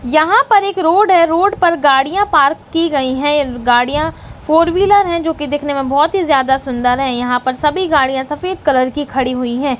यहां पर एक रोड है रोड पर गड़ियां पार्क कि गई हैं गड़ियां फोर व्हीलर हैं जो कि देखने में बहौत ही जादा सुन्दर हैं यहां पर सभी गाड़ियां सफेद कलर की खड़ी हुई हैं।